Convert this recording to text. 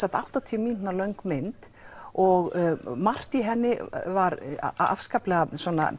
áttatíu mínútna löng mynd og margt í henni var afskaplega